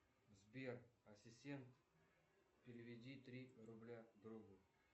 сбер ассистент переведи три рубля другу